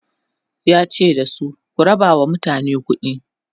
yace da su "ku rabawa mutane kuɗi!"